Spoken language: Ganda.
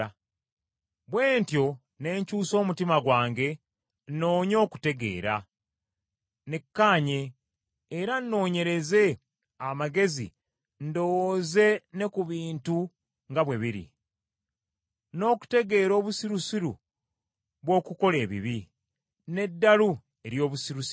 Bwe ntyo ne nkyusa omutima gwange nnoonye okutegeera, nekkanye, era nnoonyereze amagezi ndowooze ne ku bintu nga bwe biri, n’okutegeera obusirusiru bw’okukola ebibi: n’eddalu ery’obusirusiru.